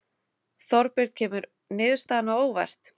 Þorbjörn kemur niðurstaðan á óvart?